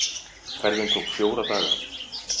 Ferðin tók fjóra daga.